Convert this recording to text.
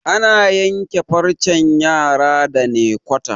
ana yanke farcen yara da naykwata